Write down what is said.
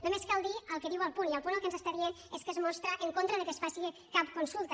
només cal dir el que diu el punt i el punt el que ens està dient és que es mostra en contra que es faci cap consulta